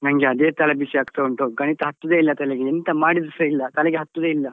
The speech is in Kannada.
ನನ್ಗೆ ಅದೇ ತಲೆ ಬಿಸಿ ಆಗ್ತಾ ಉಂಟು ಗಣಿತ ಹತ್ತುದೇ ಇಲ್ಲ ತಲೆಗೆ ಎಂತ ಮಾಡಿದ್ರುಸ ಇಲ್ಲ ತಲೆಗೆ ಹತ್ತುದೇ ಇಲ್ಲ.